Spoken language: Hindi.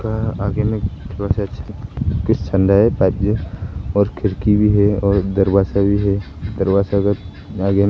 और खिड़की भी है और दरवाजा भी है दरवाजा का आगे में--